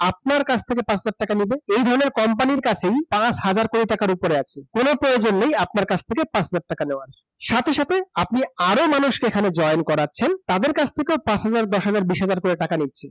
আপনার কাছ থেকে পাঁচ হাজার টাকা নিবে? এই ধরনের company এর কাছেই পাঁচ হাজার কোটি টাকার উপরে আছে । কোনো প্রয়োজন নেই আপনার কাছ থেকে পাঁচ হাজার টাকা নেওয়ার । সাথে সাথে আপনি আরো মানুষকে এখানে join করাচ্ছেন তাদের কাছ থেকেও পাঁচ হাজার দশ হাজার বিশ হাজার করে টাকা নিচ্ছেন